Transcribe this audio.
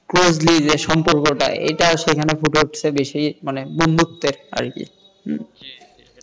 closely যে সম্পর্কটা এটা সেখানে ফুটে উঠেছে বেশিমানে বন্ধুত্বের আরকি